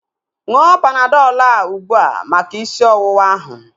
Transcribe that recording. Ṅụọ Panadọl a ugbua maka isi ọwụwa ahu